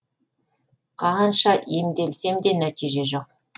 қанша емделсем де нәтиже жоқ